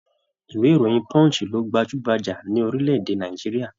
Ìwé ìròyìn Punch lo gbajúgbajà ní orílẹ̀-èdè Nàìjíríà.